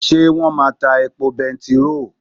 Ṣé wón máa ta epo bẹntiró?